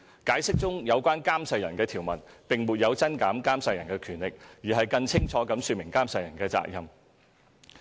《解釋》中有關監誓人的條文，並沒有增減監誓人的權力，而是更清楚地說明監誓人的責任。